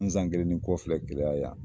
N san kelen ni kɔ filɛ gɛlɛya yan: